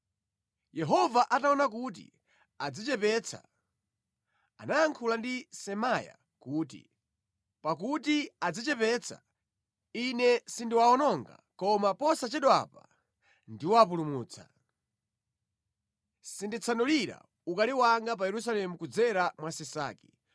Yehova ataona kuti adzichepetsa, anayankhula ndi Semaya kuti, “Pakuti adzichepetsa, Ine sindiwawononga koma posachedwapa ndiwapulumutsa. Sinditsanulira ukali wanga pa Yerusalemu kudzera mwa Sisaki.